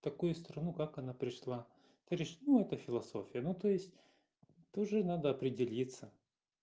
такую страну как она пришла это лишь ну эта философия ну то есть тоже надо определиться